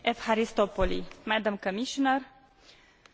Consider că discuția de astăzi este extrem de importantă.